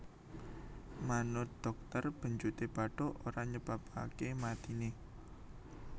Manut dhokter benjuté bathuk ora nyebabaké matiné